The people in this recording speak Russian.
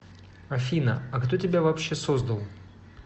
афина а кто тебя вообще создал